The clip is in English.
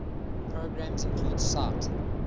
programs include sight